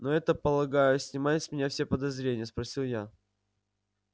но это полагаю снимает с меня все подозрения спросил я